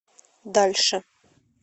дальше